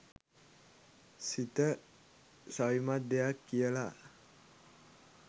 සිත සවිමත් දෙයක් කියලා